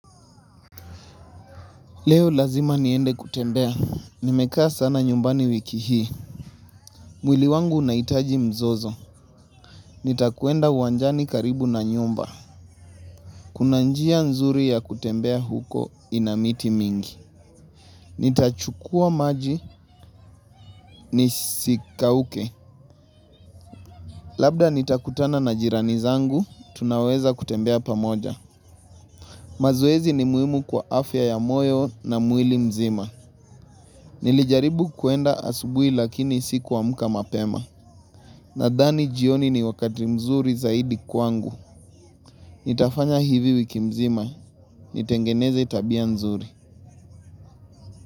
Leo lazima niende kutembea, nimekaa sana nyumbani wiki hii, mwili wangu unaitaji mzozo, nitakwenda uwanjani karibu na nyumba, kuna njia nzuri ya kutembea huko ina miti mingi, nitachukua maji nisikauke, labda nitakutana na jirani zangu, tunaweza kutembea pamoja. Mazoezi ni muimu kwa afya ya moyo na mwili mzima. Nilijaribu kuenda asubui lakini sikuamka mapema. Nadhani jioni ni wakati mzuri zaidi kwangu. Nitafanya hivi wiki mzima, nitengeneze tabia nzuri.